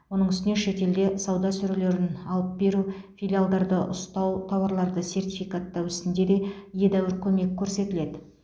оның үстіне шетелде сауда сөрелерін алып беру филиалдарды ұстау тауарларды сертификаттау ісінде де едәуір көмек көрсетіледі